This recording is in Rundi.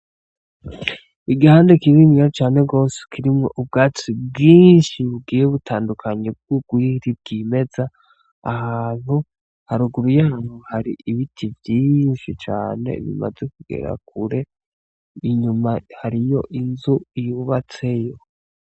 Igihandi kininiya cane rwose kirimwo ubwati bwinshi bugiye butandukanyi bw'ugwiri bw'imeza ahantu haruguru yanyu hari ibiti vyinshi cane bimaze kugera kure inyuma hariyo inzu iyubatseyo.